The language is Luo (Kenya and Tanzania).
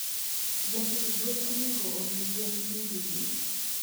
Japidh gwen onego omii gwen pii didi?